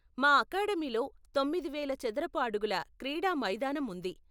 మా అకాడమీలో తొమ్మిది వేల చదరపు అడుగుల క్రీడా మైదానం ఉంది.